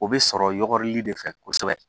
O bɛ sɔrɔ yɔgɔrili de fɛ kosɛbɛ